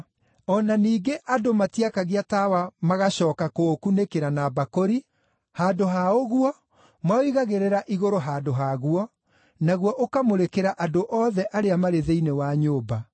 O na ningĩ andũ matiakagia tawa magacooka kũũkunĩkĩra na mbakũri; handũ ha ũguo, maũigagĩrĩra igũrũ handũ haguo, naguo ũkamũrĩkĩra andũ othe arĩa marĩ thĩinĩ wa nyũmba.